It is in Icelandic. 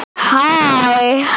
Helga Arnardóttir: Hvað veldur?